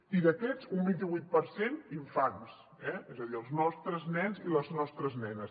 i d’aquests un vint vuit per cent infants eh és a dir els nostres nens i les nostres nenes